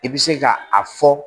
I bɛ se ka a fɔ